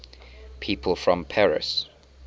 people from paris